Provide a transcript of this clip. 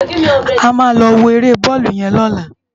Ámá lò wó éré bòlú yèn lòlá